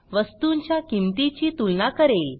वस्तूंच्या किंमतीची तुलना करेल